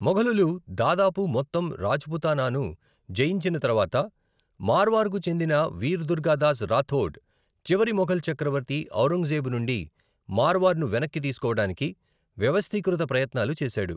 మొఘలులు దాదాపు మొత్తం రాజ్పుతానాను జయించిన తర్వాత, మార్వార్కు చెందిన వీర్ దుర్గాదాస్ రాథోడ్ చివరి మొఘల్ చక్రవర్తి ఔరంగజేబు నుండి మార్వార్ను వెనక్కి తీసుకోవడానికి వ్యవస్థీకృత ప్రయత్నాలు చేశాడు.